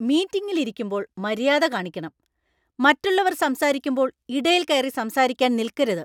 മീറ്റിംഗിൽ ഇരിക്കുമ്പോൾ മര്യാദ കാണിക്കണം; മറ്റുള്ളവർ സംസാരിക്കുമ്പോൾ ഇടയിൽ കയറി സംസാരിക്കാൻ നിൽക്കരുത്.